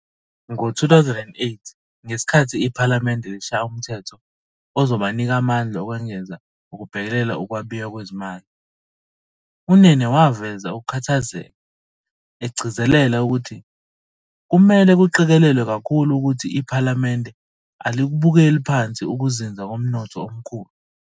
Ngo-2008 ngesikhathi iPhalamende lishaya umthetho ozobanika amandla okwengeza ukubhekelela ukwabiwa kwezimali, uNene waveza ukukhathazeka, egcizelela ukuthi "kumele kuqikelelwe kakhulu ukuthi iPhalamende alikubukeli phansi ukuzinza komnotho omkhulu."